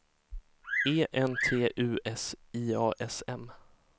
E N T U S I A S M